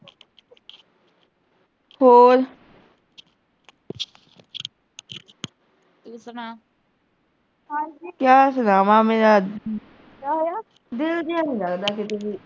ਕਿਆ ਸੁਣਾਵਾਂ ਮੇਰਾ ਦਿਲ ਜਿਆ ਨੀਂ ਲਗਦਾ ਕਿਤੇ ਵੀ